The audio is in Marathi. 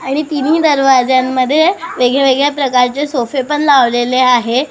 आणि तिन्ही दरवाजांमध्ये वेगळ्या वेगळ्या प्रकारचे सोफे पण लावलेले आहेत.